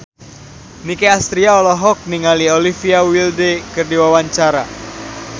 Nicky Astria olohok ningali Olivia Wilde keur diwawancara